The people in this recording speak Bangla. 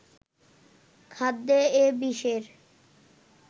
খাদ্যে এ বিষের